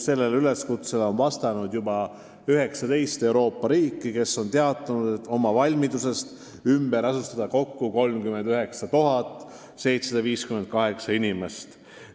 Sellele üleskutsele on vastanud juba 19 Euroopa riiki, kes on teatanud oma valmidusest ümber asustada kokku 39 758 inimest.